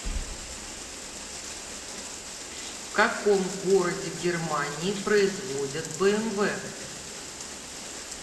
в каком городе германии производят бмв